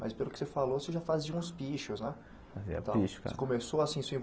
Mas pelo que você falou, você já fazia uns pichos né. Fazia picho cara Então você começou assim